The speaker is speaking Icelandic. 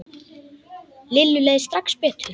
Lillu leið strax betur.